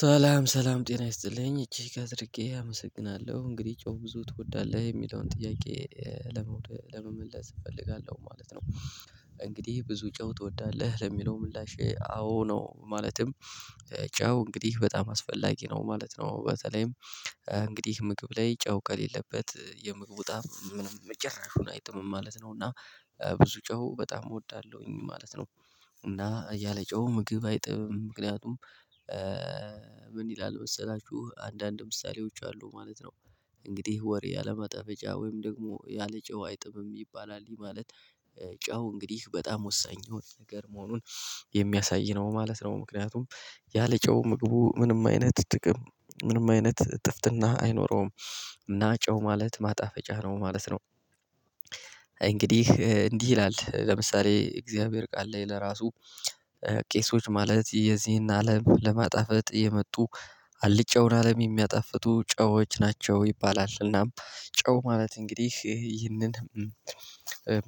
ሰላም ሰላም ጤና ይስጥልኝ እጅግ አድርጌ አመሰግናለሁ እንግዲህ ጨው ብዙ ትወዳለህ የሚለውን ጥያቄ ለመመለስ እፈልጋለሁ ማለት ነው። እንግዲህ ብዙ ጨው ትወዳለህ ለሚለው ምላሼ አዎ ነው። ማለትም ጫው እንግዲህ በጣም አስፈላጊ ነው ማለት ነው። በተለይም እንግዲህ ምግብ ላይ ጨው ከሌለበት የምግቡ ጣዕም ምንም ጭራሽውን አይጥምም ማለት ነው። እና ብዙ ጨው በጣም እወዳለሁኝ ማለት ነው። እና ያለ ጨው ምግብ አይጥምም ምክንያቱም? ምን ይላል መሰላችሁ አንዳንድ ምሳሌዎች አሉ ማለት ነው። እንግዲህ ወሬ ያለማጠፈጫ ወይም ደግሞ ያለጨው አያጥምም ይባላል ይሄ ማለት። ጨው እንግዲህ በጣም ወሳኝ የሆነ ነገር መሆኑን የሚያሳይ ነው ማለት ነው። ምክንያቱም ያለ ጨው ምግቡ ምንም አይነት ጥቅም ምንም አይነት ጥፍጥና አይኖረውም። እና ጨው ማለት ማጣፈጫ ነው ማለት ነው። እንግዲህ እንዲህ ይላል ለምሳሌ እግዚአብሔር ቃል ላይ እራሱ። ቄሶች ማለት የዚህን አለም ለማጣፈጥ የመጡ አልጫውን አለም የሚያጣፍጡ ጨዎች ናቸው ይባላል። እናም ጨው ማለት እንግዲህ ይህንን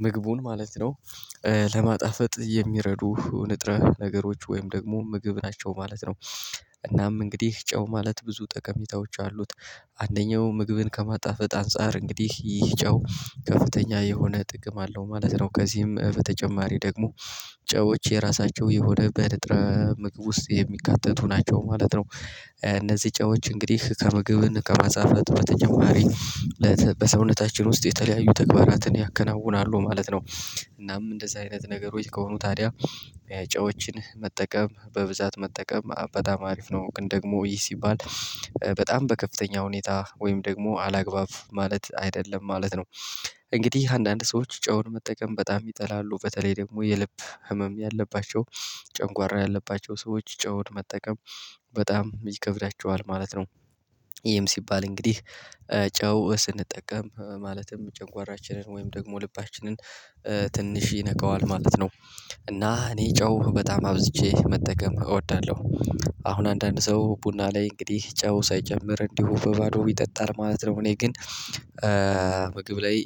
ምግቡን ማለት ነው። ለማጣፈጥ የሚረዱ ንጥረ ነገሮች ወይም ደግሞ ምግብ ናቸው ማለት ነው። እናም እንግዲህ ጨው ማለት ብዙ ጠቀሜታዎች አሉት። አንደኛው ምግብን ከማጣፈጥ አንፃር እንግዲህ ይህ ጫው ከፍተኛ የሆነ ጥቅም አለው ማለት ነው። ከዚህም በተጨማሪ ደግሞ ጨዎች የራሳቸው የሆነ በንጥረ ምግብ ውስጥ የሚካተቱ ናቸው ማለት ነው። እነዚህ ጨዎች እንግዲህ ከምግብን ከማጣፈጥ በተጨማሪ በሰውነታችን ውስጥ የተለያዩ ተግባራትን ያከናውናሉ ማለት ነው። እናም እንደዚህ አይነት ነገሮች ከሆኑ ታዲያ የጨዎችን መጠቀም በብዛት መጠቀም በጣም አሪፍ ነው። ግን ደግሞ ይህ ሲባል በጣም በከፍተኛ ሁኔታ ወይም ደግሞ አላግባብ ማለት አይደለም ማለት ነው። እንግዲህ አንዳንድ ሰዎች ጨውን መጠቀም በጣም ይጠላሉ በተለይ ደግሞ የልብ ህመም ያለባቸው ጭጓራ ያለባቸው ሰዎች ጨውን መጠቀም በጣም ይከብዳቸዋል ማለት ነው። ይሄም ሲባል እንግዲህ ጨው ስንጠቀም ማለትም ጭጓራችንን ወይም ደግሞ ልባችንን ትንሽ ይነከዋል ማለት ነው። እና እኔ ጨው በጣም አብዝቼ መጠቀም እወዳለሁ። አሁን አንዳንድ ሰው ቡና ላይ እንግዲህ ጨው ሳይጨምር እንዲሁ በባዶ ይጠጣል ማለት ነው። እኔ ግን። ምግብ ላይ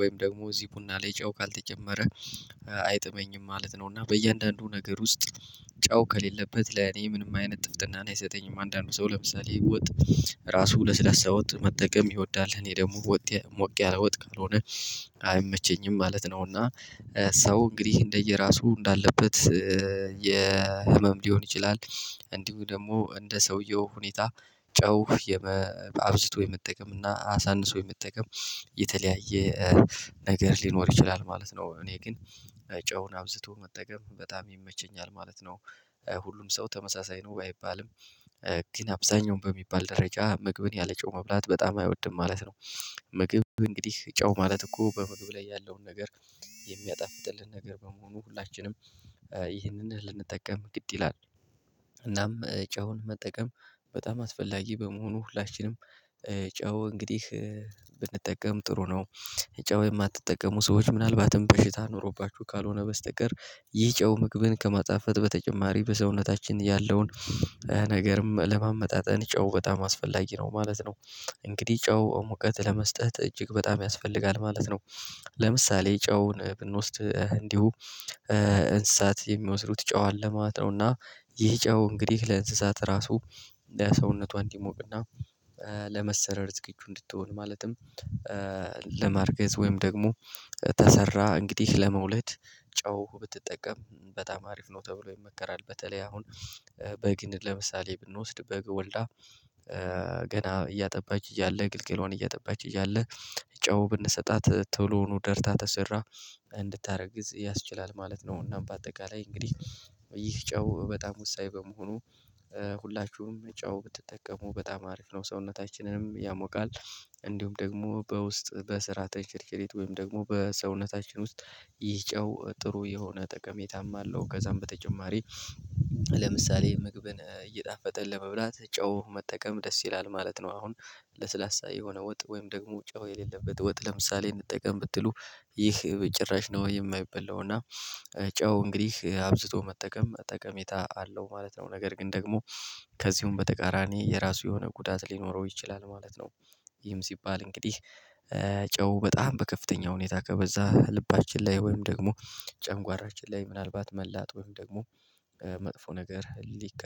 ወይም ደግሞ እዚህ ቡና ላይ ጨው ካልተጨመረ አይጥመኝም ማለት ነው። እና በእያንዳንዱ ነገር ውስጥ ጨው ከሌለበት ለኔ ምንም አይነት ጥፍጥናን አይሰጠኝም። አንዳንዱ ሰው ለምሳሌ ወጥ እራሱ ለስላሳ ወጥ መጠቀም ይወዳል እኔ ደግሞ ወጥ ሞቅ ያላ ወጥ ካልሆነ አይመቸኝም ማለት ነው። እና ሰው እንግዲህ እንደየራሱ እንዳለበት የህመም ሊሆን ይችላል። እንዲሁ ደግሞ እንደ ሰውየው ሁኔታ ጨው አብዝቶ የመጠቀም እና አሳንሶ የመጠቀም የተለያየ ነገር ሊኖር ይችላል ማለት ነው። እኔ ግን ጨውን አብዝቶ መጠቀም በጣም ይመቸኛል ማለት ነው። ሁሉም ሰው ተመሳሳይ ነው አይባልም ባይባልም ግን አብዛኛውን በሚባል ደረጃ ምግብን ያለ ጨው መብላት በጣም አይወድም ማለት ነው። ምግብ እንግዲህ ጨው ማለት እኮ በምግብ ላይ ያለውን ነገር የሚያጣፍጥልህ ነገር በመሆኑ ሁላችንም ይህንን ልንጠቀም ግድ ይላል። እናም ጨውን መጠቀም በጣም አስፈላጊ በመሆኑ ላችንም ጨው እንግዲህ ብንጠቀም ጥሩ ነው። ጨው የማትጠቀሙ ሰዎች ምናልባትም በሽታ ኖሮባችሁ ካልሆነ በስተቀር ይህ ጨው ምግብን ከማጣፈጥ በተጨማሪ በሰውነታችን ያለውን ነገርም ለማመጣጠን ጨው በጣም አስፈላጊ ነው ማለት ነው። እንግዲህ ጨው ሙቀት ለመስጠት እጅግ በጣም ያስፈልጋል ማለት ነው። ለምሳሌ ጨውን ብንወስድ እንዲሁ እንስሳት የሚወስዱት ጨው አለ ማለት ነውና። ይህ ጨው እንግዲህ ለእንስሳት ራሱ ለሰውነቷ እንዲሞቅና ለመሰረር ዝግጁ እንድትሆን ማለትም። ለማርገዝ ወይም ደግሞ ተሰራ እንግዲህ ለመውለድ ጨው ብትጠቀም በጣም አሪፍ ነው ተብሎ ይመከራል። በተለይ አሁን በግን ለምሳሌ ብንወስድ በግ ወልዳ ገና እያጠባች እያለ ግልገሏን እያጠባች እያለ ጨው ብንሰጣት ቶሎውኑ ደርታ ተሰራ እንድታደረዝ ያስችላል ማለት ነው። እና በአጠቃላይ እንግዲህ ይህ ጨው በጣም ወሳኝ በመሆኑ ሁላችሁም ጨው ብትጠቀሙ በጣም አሪፍ ነው ሰውነታችንንም ያሞቃል። እንዲሁም ደግሞ በውስጥ በስራ ተንቸርኬሬት ወይም ደግሞ በሰውነታችን ውስጥ ይህ ጨው ጥሩ የሆነ ጠቀሜታም አለው ከዛም በተጨማሪ። ለምሳሌ ምግብን እየጣፈጠ ለመብላት ጨው መጠቀም ደስ ይላል ማለት ነው። አሁን ለስላሳ የሆነ ወጥ ወይም ደግሞ ጨው የሌለበት ወጥ ለምሳሌ እንጠቀም ብትሉ ይህ በጭራሽ ነው የማይባላው እና። ጨው እንግዲህ አብዝቶ መጠቀም ጠቀሜታ አለው ማለት ነው። ነገር ግን ደግሞ ከዚሁም በተቃራኒ የራሱ የሆነ ጉዳት ሊኖረው ይችላል ማለት ነው። ይህም ሲባል እንግዲህ ጨው በጣም በከፍተኛ ሁኔታ ከበዛ ልባችን ላይ ወይም ደግሞ ጨጓራችን ላይ ምናልባት መላጥ ወይም ደግሞ መጥፎ ነገር ሊከ